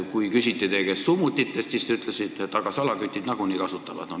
Kui teie käest küsiti summutite kohta, siis te ütlesite, et aga salakütid nagunii neid kasutavad.